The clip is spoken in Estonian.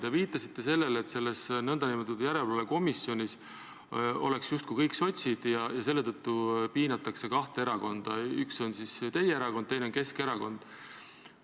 Te viitasite sellele, et selles nn järelevalvekomisjonis oleksid justkui kõik sotsid ja seetõttu piinatakse kahte erakonda, üks on teie erakond, teine on Keskerakond.